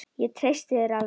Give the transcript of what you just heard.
Ég treysti þér alveg!